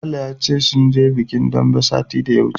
Sale ya ce min sun je bikin daɓe satin da ya wuce.